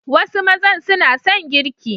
Some men love to cook